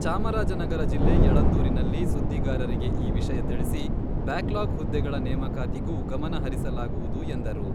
ಚಾಮರಾಜನಗರ ಜಿಲ್ಲೆ ಯಳಂದೂರಿನಲ್ಲಿ ಸುದ್ದಿಗಾರರಿಗೆ ಈ ವಿಷಯ ತಿಳಿಸಿ, ಬ್ಯಾಕ್ಲಾಗ್ ಹುದ್ದೆಗಳ ನೇಮಕಾತಿಗೂ ಗಮನ ಹರಿಸಲಾಗುವುದು ಎಂದರು.